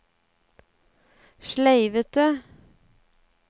sleivete